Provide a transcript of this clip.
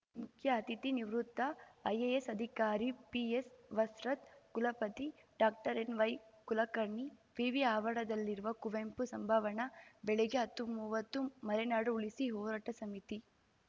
ಮುಖ್ಯ ಅತಿಥಿ ನಿವೃತ್ತ ಐಎಎಸ್‌ ಅಧಿಕಾರಿ ಪಿಎಸ್‌ವಸ್ತ್ರದ್‌ ಕುಲಪತಿ ಡಾಕ್ಟರ್ಎನ್ವೈಕುಲಕರ್ಣಿ ವಿವಿ ಆವರಣದಲ್ಲಿರುವ ಕುವೆಂಪು ಸಭಾಂವಣ ಬೆಳಿಗ್ಗೆ ಹತ್ತುಮೂವತ್ತು ಮಲೆನಾಡು ಉಳಿಸಿ ಹೋರಾಟ ಸಮಿತಿ